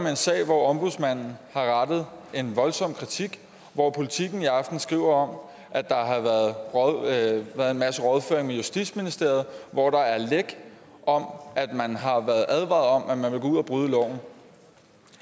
en sag hvor ombudsmanden har rettet en voldsom kritik hvor politiken i aften skriver om at der har været en masse rådføring med justitsministeriet hvor der er læk om at man har været advaret om at man vil gå ud og bryde loven